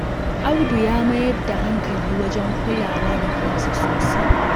Audu ya mayar da hankali wajen kulawa da kansa sosai